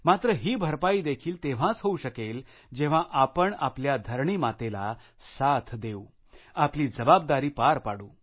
मात्र ही भरपाई देखील तेव्हाच होऊ शकेल जेव्हा आपण आपल्या धरणी मातेला साथ देऊ आपली जबाबदारी पार पाडू